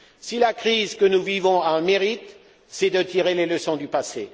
Si la crise que nous vivons a un mérite, c'est de tirer les leçons du passé.